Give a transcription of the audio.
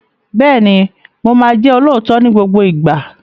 Bẹ́ẹ̀ni, mo máa jẹ́ olóòótọ́ ní gbogbo ìgbà.